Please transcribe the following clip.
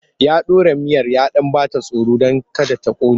Ya ɗora miyar ya ɗan ba ta tsoro don kada ta ƙone.